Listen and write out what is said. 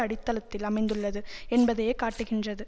அடித்தளத்தில் அமைந்துள்ளது என்பதையே காட்டுகின்றது